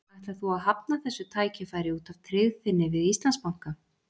Ætlar þú að hafna þessu tækifæri út af tryggð þinni við Íslandsbanka?